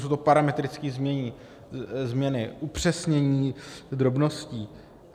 Jsou to parametrické změny, upřesnění drobností.